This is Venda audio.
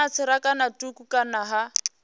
na tserakano thukhu kana ha